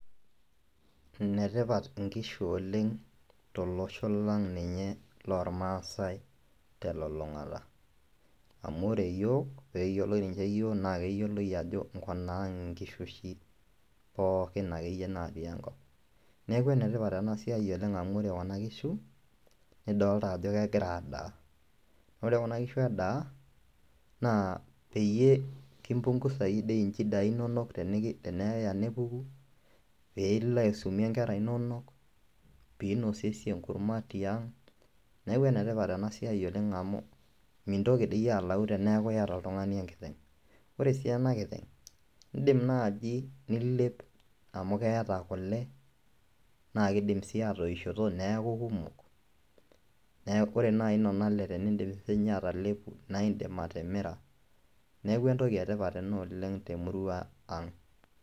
Ine tipat nkishu oleng' tolosho lang' ninye lormaasai te lulung'ata amu ore iyiok peeyioloi ninje iyiok naake eyioloi ajo nkunaang' nkishu oshi pookin akeyie natii enkop. Neeku ene tipat oleng' ena siai amu ore kuna kishu nidolta ajo kegira adaa, ore kuna kishu edaa naa peyie kimpung'uzaki dei nchidai inonok teneki teneya nepuku piilo aisumie nkera inonok, piinosiesie enkurma tiang', neeku ene tipat ena siai oleng' amu mintoki dii alau teneeku iyata oltung'ani enkiteng'. Ore sii ena kiteng', indim naaji nilep amu keeta kule naake iidim sii atoishoto neeku kumok neek kore nai nona ale teniindip siinye atalepu nae indim atimira. Neeku entoki e tipat ena oleng' te murua aang'.